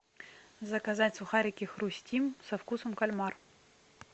заказать сухарики хрустим со вкусом кальмар